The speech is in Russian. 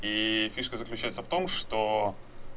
и фишка заключается в том что